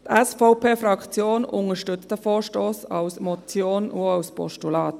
Die SVP-Fraktion unterstützt diesen Vorstoss als Motion und als Postulat.